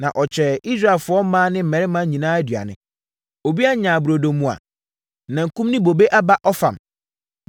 Na ɔkyɛɛ Israelfoɔ mmaa ne mmarima nyinaa aduane. Obiara nyaa burodo mua, nankum ne bobe aba ɔfam.